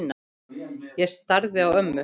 Ég starði á ömmu.